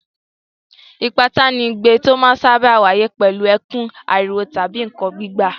Ìpátá ni igbe tó máa ń sáábà wáyé pẹ̀lú ẹkún, ariwo tàbí nǹkan gbígbá.